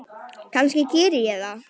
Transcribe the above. Kannski geri ég það.